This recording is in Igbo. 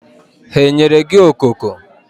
Ha enyere gị okoko?